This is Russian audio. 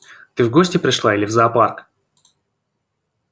ты в гости пришла или в зоопарк